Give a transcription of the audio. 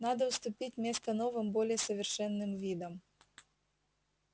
надо уступить место новым более совершенным видам